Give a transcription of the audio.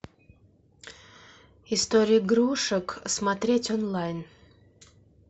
история игрушек смотреть онлайн